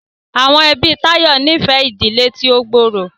Awọn ẹbi Tayo ní fẹ ìdílé tí o gbooro.